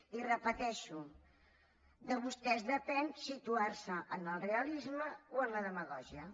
i ho repeteixo de vostès depèn situar se en el realisme o en la demagògia